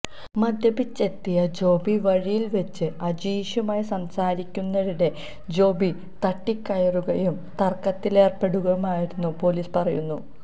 മദ്യപിച്ചെത്തിയ ജോബി വഴിയിൽവെച്ച് അജീഷുമായി സംസാരിക്കുന്നതിനിടെ ജോബി തട്ടിക്കയറുകയും തർക്കത്തിലേർപ്പെടുകയുമായിരുന്നെന്ന് പോലീസ് പറയുന്നു